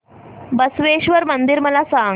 बसवेश्वर मंदिर मला सांग